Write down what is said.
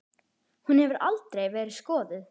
Hún hefur aldrei verið skoðuð.